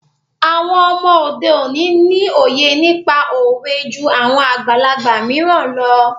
Àwọn ọmọ òde òní ni òye nípa òwe jú àwọn àgbàlagbà mìíràn lọ.